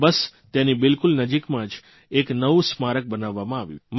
બસ તેની બિલકુલ નજીકમાં આ એક નવું સ્મારક બનાવવામાં આવ્યું છે